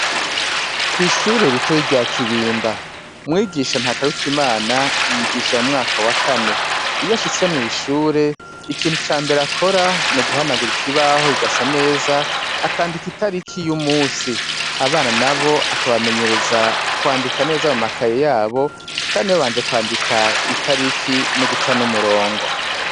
Kw' ishure ritoyi rya Kibimba, mwigisha Ntakarutimana yigisha mu mwaka wa kane. Iyo ashitse mw' ishure ikintu ca mbere akora ni uguhanagura ikibaho kigasa neza, akandika itariki y'umunsi. Abana nabo akabamenyereza kwandika neza mu makaye yabo, kandi babanje kwandika itariki no guca n'umurongo.